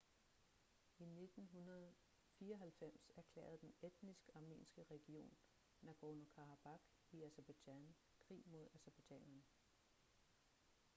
i 1994 erklærede den etnisk armenske region nagorno-karabakh i aserbajdsjan krig mod aserbajdsjanerne